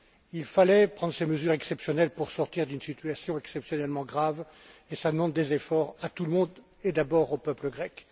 Il fallait prendre ces mesures exceptionnelles pour sortir d'une situation exceptionnellement grave et cela demande des efforts à tout le monde et d'abord au peuple grec.